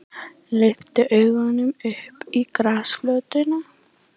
Lyfti augunum upp á grasflötina.